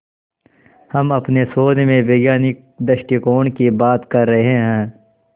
हम अपने शोध में वैज्ञानिक दृष्टिकोण की बात कर रहे हैं